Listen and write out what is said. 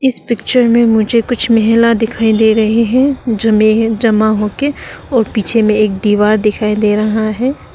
इस पिक्चर में मुझे कुछ महिला दिखाई दे रहे हैं जमे हैं जमा होके और पीछे में एक दीवार दिखाई दे रहा है।